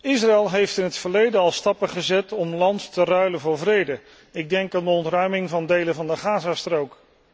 Israël heeft in het verleden al stappen gezet om land te ruilen voor vrede. Ik denk aan de ontruiming van delen van de Gazastrook.